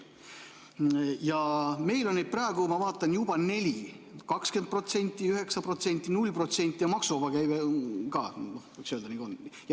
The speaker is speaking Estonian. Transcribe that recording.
Ma vaatan, et meil on neid praegu juba neli: 20%, 9%, 0% ja ka maksuvaba käive.